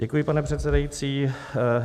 Děkuji, pane předsedající.